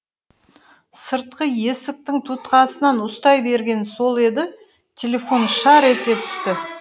сыртқы есіктің тұтқасынан ұстай бергені сол еді телефон шар ете түсті